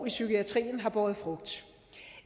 i psykiatrien har båret frugt